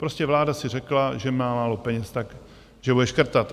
Prostě vláda si řekla, že má málo peněz, tak že bude škrtat.